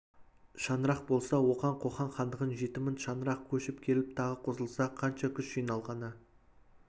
шаңырақ болса оған қоқан хандығынан жеті мың шаңырақ көшіп келіп тағы қосылса қанша күш жиналғаны